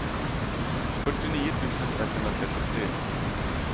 fyrtionio tusen etthundratrettiotre